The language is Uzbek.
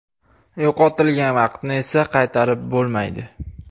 Yo‘qotilgan vaqtni esa qaytarib bo‘lmaydi.